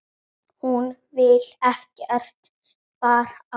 Hún vill ekkert barn.